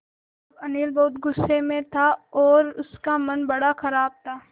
अब अनिल बहुत गु़स्से में था और उसका मन बड़ा ख़राब था